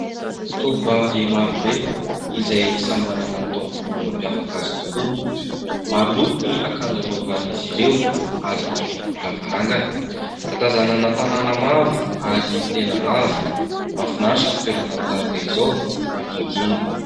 Tovovavy marobe izay samy manana ny tao volo mam-piavaka azy tokoa .Maro loko ny akanjo anovan'izy ireo ary eny ambonin'ny lavarangana . Atazanana tanàna maromaro ary tena avo. Mafinaritra ny toerana tahaka izao ,mangingina.